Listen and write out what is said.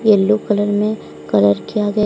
yellow colour में colour किया गया--